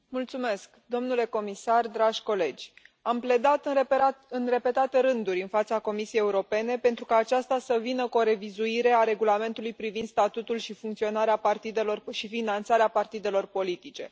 Doamnă președintă, domnule comisar, dragi colegi, am pledat în repetate rânduri în fața Comisiei Europene pentru ca aceasta să vină cu o revizuire a Regulamentului privind statutul și funcționarea partidelor și finanțarea partidelor politice.